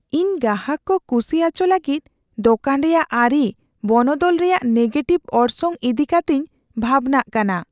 ᱤᱧ ᱜᱟᱦᱟᱠ ᱠᱚ ᱠᱩᱥᱤ ᱟᱪᱚ ᱞᱟᱹᱜᱤᱫ ᱫᱳᱠᱟᱱ ᱨᱮᱭᱟᱜ ᱟᱹᱨᱤ ᱵᱚᱱᱚᱫᱚᱞ ᱨᱮᱭᱟᱜ ᱱᱮᱜᱮᱴᱤᱵᱷ ᱚᱨᱥᱚᱝ ᱤᱫᱤ ᱠᱟᱛᱮᱧ ᱵᱷᱟᱵᱱᱟᱜ ᱠᱟᱱᱟ ᱾